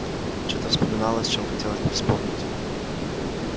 чё-то вспоминалось чем хотелось бы вспомнить